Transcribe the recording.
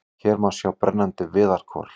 Hér má sjá brennandi viðarkol.